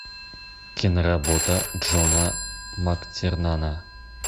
киноработа джона мактирнана